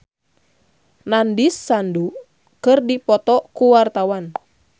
Ersa Mayori jeung Nandish Sandhu keur dipoto ku wartawan